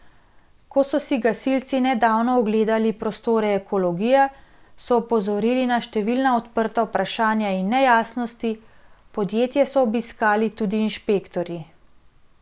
Ko so si gasilci nedavno ogledali prostore Ekologije, so opozorili na številna odprta vprašanja in nejasnosti, podjetje so obiskali tudi inšpektorji.